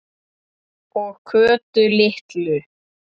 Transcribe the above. Og Kötu litlu.